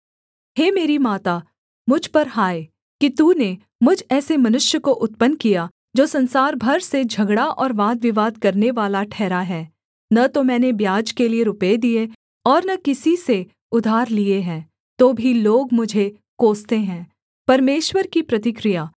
हे मेरी माता मुझ पर हाय कि तूने मुझ ऐसे मनुष्य को उत्पन्न किया जो संसार भर से झगड़ा और वादविवाद करनेवाला ठहरा है न तो मैंने ब्याज के लिये रुपये दिए और न किसी से उधार लिए हैं तो भी लोग मुझे कोसते हैं परमेश्वर की प्रतिक्रिया